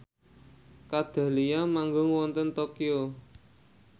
Kat Dahlia manggung wonten Tokyo